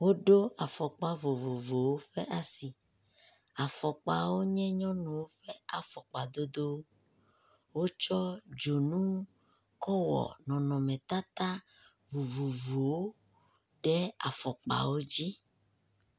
Wo do afɔkpa vovovowo ɖe asi. Afɔkpawo nye nyɔnuwo ƒe afɔkpa dodo. Wotsɔ dzonu kɔwɔ nɔnɔnetata vovovowo ɖe afɔkpawo dzi.